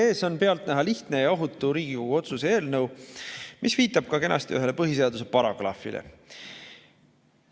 Meie ees on pealtnäha lihtne ja ohutu Riigikogu otsuse eelnõu, mis viitab kenasti ka ühele põhiseaduse paragrahvile.